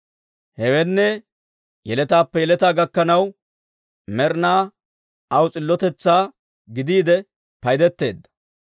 Hewenne, yeletaappe yeletaa gakkanaw, med'inaw aw s'illotetsaa gidiide paydeteedda.